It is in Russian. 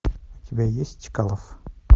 у тебя есть чкалов